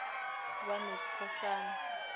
banoskhosana